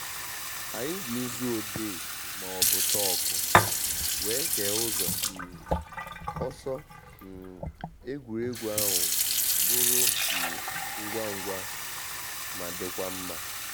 Anyị ji nzu odee ma ọbụ chọkụ wee kee ụzọ um ọsọ um egwuregwu ahụ bụrụ um ngwa ngwa ma dịkwa mma